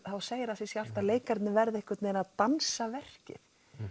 þá segir það sig sjálft að leikararnir verða einhvern veginn að dansa verkið